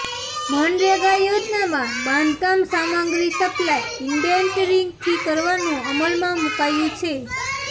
મનરેગા યોજનામાં બાંધકામ સામગ્રી સપ્લાય ઇટેન્ડરીંગથી કરવાનુ અમલમાં મુકાયુ છે